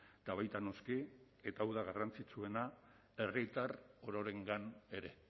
eta baita noski eta hau da garrantzitsuena herritar ororengan ere